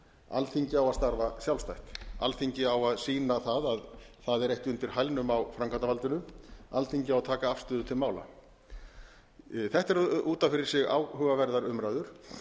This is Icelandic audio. alþingi á að starfa sjálfstætt alþingi á að sýna það að það er ekki undir hælnum á framkvæmdarvaldinu alþingi á að taka afstöðu til mála þetta eru út a fyrir sig áhugaverðar umræður